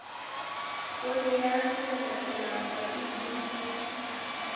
poone ya selelekela mabapi le